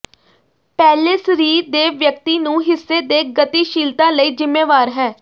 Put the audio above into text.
ਪਹਿਲੇ ਸਰੀਰ ਦੇ ਵਿਅਕਤੀ ਨੂੰ ਹਿੱਸੇ ਦੇ ਗਤੀਸ਼ੀਲਤਾ ਲਈ ਜ਼ਿੰਮੇਵਾਰ ਹੈ